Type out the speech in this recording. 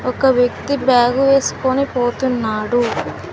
ఒక వ్యక్తి బ్యాగు వేసుకొని పోతున్నాడు.